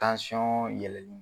Tansɔn yɛlɛli